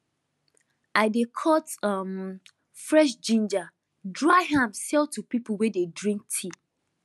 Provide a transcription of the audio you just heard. i dey cut um fresh ginger dry am sell to people wey dey drink tea